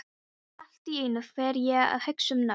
Og allt í einu fer ég að hugsa um nöfn.